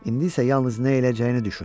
İndi isə yalnız nə eləyəcəyini düşün.